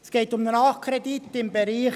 Es geht um einen Nachkredit im Bereich